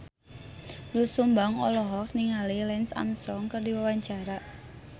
Doel Sumbang olohok ningali Lance Armstrong keur diwawancara